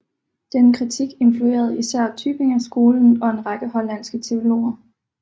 Denne kritik influerede især Tübingerskolen og en række hollandske teologer